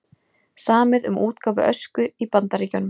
Samið um útgáfu Ösku í Bandaríkjunum